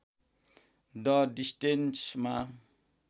the डिस्टेन्समा